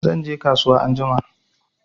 Zanje kasuwa anjima